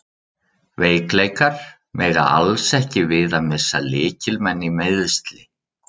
Veikleikar: Mega alls ekki við því að missa lykilmenn í meiðsli.